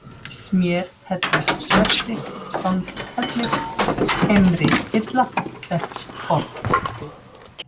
Smérhellissvelti, Sandhellir, Heimrihilla, Klettshorn